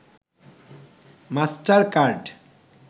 master card